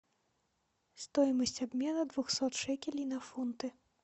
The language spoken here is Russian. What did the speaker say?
стоимость обмена двухсот шекелей на фунты